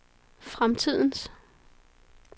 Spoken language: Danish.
fremtidens